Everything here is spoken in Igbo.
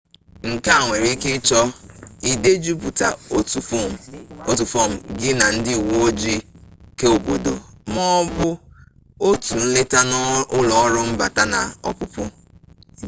nke a nwere ike ịchọ idejupụta otu fọọm gị na ndị uwe ojii keobodo ma ọ bụ otu nleta na ụlọ ọrụ mbata na ọpụpụ